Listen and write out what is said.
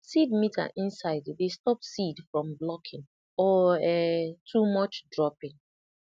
seed meter inside dey stop seed from blocking or um too much dropping